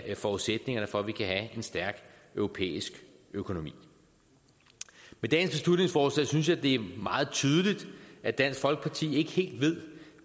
forudsætningerne for at vi kan have en stærk europæisk økonomi med dagens beslutningsforslag synes jeg det er meget tydeligt at dansk folkeparti ikke helt ved